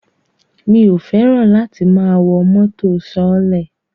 Mi ò fẹ́ràn láti máa wọ mọ́tò sọọ́lẹ̀